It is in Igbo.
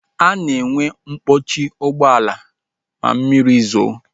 A na-enwe mkpọchi ụgbọala ma mmiri zoo